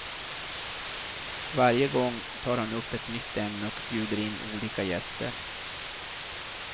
Varje gång tar han upp ett nytt ämne och bjuder in olika gäster.